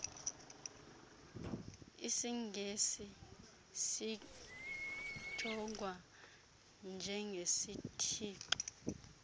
isingesi sijongwa njengesitshixo